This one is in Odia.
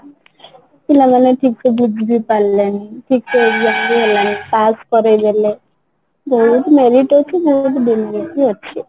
ପିଲାମାନେ ଠିକସେ ବୁଝିବି ପାରିଲେନି ଠିକ ସେ ବି ହେଲାନି ପାସ କରେଇଦେଲେ ବହୁତ merit ଅଛି ବହୁତ demerit ବି ଅଛି